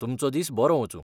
तुमचो दीस बरो वचूं.